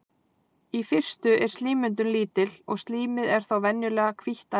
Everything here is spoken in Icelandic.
í fyrstu er slímmyndun lítil og slímið er þá venjulega hvítt að lit